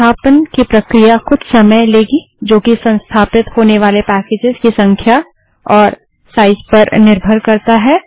संस्थापन की प्रक्रिया कुछ समय लेगी जो कि संस्थापित होने वाले पैकेजस की संख्या और साइज़ पर निर्भर करता है